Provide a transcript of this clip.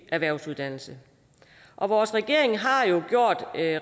erhvervsuddannelse og vores regering har jo gjort